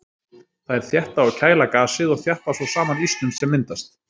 Þær þétta og kæla gasið og þjappa svo saman ísnum sem myndast.